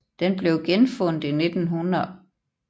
Den blev genfundet i 1819 og i 1867 opstillet ved siden af ruinen